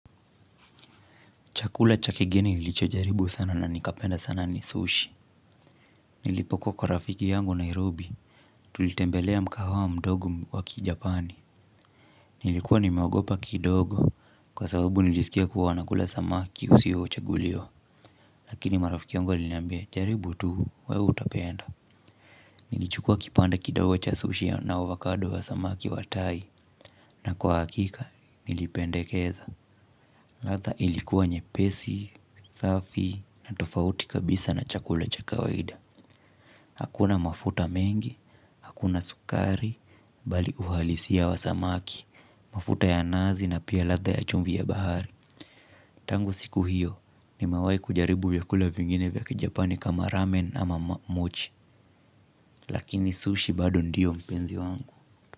Chakula cha kigeni nilicho jaribu sana na nikapenda sana ni sushi. Nilipokuwa kwa rafiki yangu Nairobi. Tulitembelea mkahawa mdogo wa ki Japani. Nilikuwa nimeogopa kidogo. Kwa sababu nilisikia kuwa nakula samaki usio chaguliwa. Lakini marafiki wangu waliniambia jaribu tu wewe utapenda. Nilichukua kipande kidogo cha sushi na avocado wa samaki wa tai. Na kwa hakika nilipendekeza. Ladha ilikuwa nyepesi, safi na tofauti kabisa na chakula cha kawaida. Hakuna mafuta mengi, hakuna sukari, bali uhalisia wa samaki, mafuta ya nazi na pia ladha ya chumvi ya bahari. Tangu siku hiyo nimewai kujaribu vyakula vingine vya kijapani kama ramen ama mochi. Lakini sushi bado ndiyo mpenzi wangu.